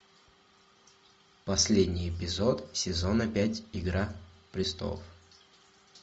последний эпизод сезона пять игра престолов